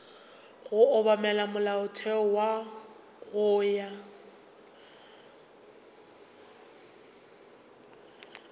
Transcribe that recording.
go obamela molaotheo go ya